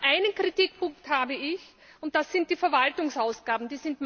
Einen Kritikpunkt habe ich Das sind die Verwaltungsausgaben.